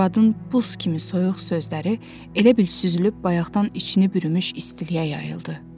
Arvadın buz kimi soyuq sözləri elə bil süzülüb bayaqdan içini bürümüş istiliyə yayıldı.